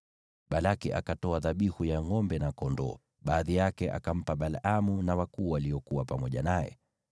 Balaki akatoa dhabihu ya ngʼombe na kondoo; baadhi yake akampa Balaamu na wakuu waliokuwa pamoja naye.